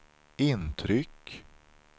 intryck